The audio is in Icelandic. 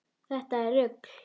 Þetta er rugl.